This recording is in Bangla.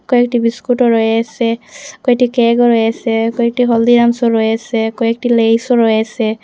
কয়েকটি বিস্কুট -ও রয়েসে কয়েকটি কেক -ও রয়েসে কয়েকটি হলদিরামসও রয়েসে কয়েকটি লেইস -ও রয়েসে।